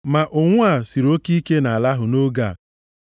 Ma ụnwụ a siri oke ike nʼala ahụ nʼoge a.